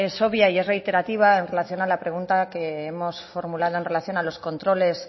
es obvia y es reiterativa en relación a la pregunta que hemos formulado en relación a los controles